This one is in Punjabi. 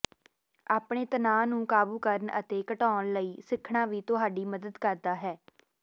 ਆਪਣੇ ਤਣਾਅ ਨੂੰ ਕਾਬੂ ਕਰਨ ਅਤੇ ਘਟਾਉਣ ਲਈ ਸਿੱਖਣਾ ਵੀ ਤੁਹਾਡੀ ਮਦਦ ਕਰ ਸਕਦਾ ਹੈ